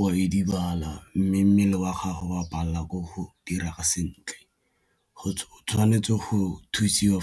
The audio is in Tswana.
wa edibala mme mmele wa gago wa palelwa ke go dira sentle, o tshwanetse go thusiwa